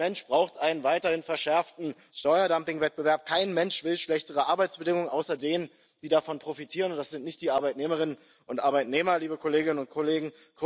Kein Mensch braucht einen weiteren verschärften Steuerdumpingwettbewerb, kein Mensch will schlechtere Arbeitsbedingungen, außer denen, die davon profitieren, und das sind nicht die Arbeitnehmerinnen und Arbeitnehmer, liebe Kolleginnen und Kollegen.